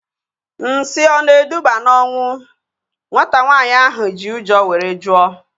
Nsị ọ na-eduba na ọnwụ? Nwata nwaanyị ahu ji ụjọ were jụọ